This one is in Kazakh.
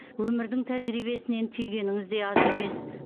өмірдің тәжірибесінен түйгеніңіз де аз емес